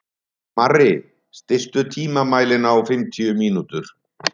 Marri, stilltu tímamælinn á fimmtíu mínútur.